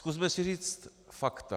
Zkusme si říct fakta.